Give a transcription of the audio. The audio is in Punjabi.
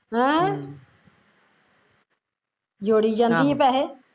ਹਮ ਹੈਂ ਜੋੜੀ ਜਾਂਦੀ ਐ ਪੈਸੇ